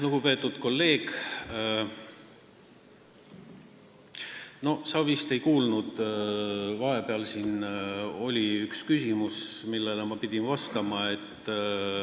Lugupeetud kolleeg, sa vist ei kuulnud, et vahepeal oli siin üks küsimus, millele ma pidin vastama.